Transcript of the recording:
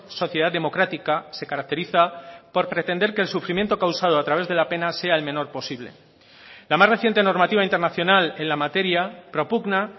sociedad democrática se caracteriza por pretender que el sufrimiento causado a través de la pena sea el menor posible la más reciente normativa internacional en la materia propugna